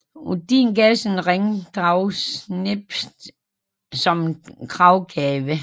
Odin gav sin ring Draupnir som gravgave